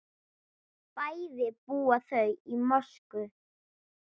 Bæði búa þau í Moskvu.